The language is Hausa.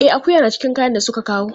E, akuya na cikin kayan da suka kawo.